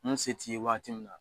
Munnu se t'i yen wagati min na